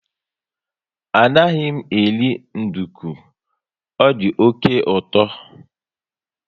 Anaghị m eri nduku, ọ dị oké uto